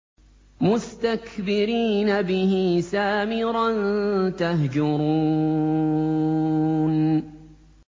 مُسْتَكْبِرِينَ بِهِ سَامِرًا تَهْجُرُونَ